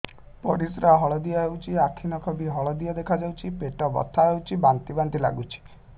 ପରିସ୍ରା ହଳଦିଆ ହେଉଛି ଆଖି ନଖ ବି ହଳଦିଆ ଦେଖାଯାଉଛି ପେଟ ବଥା ହେଉଛି ବାନ୍ତି ବାନ୍ତି ଲାଗୁଛି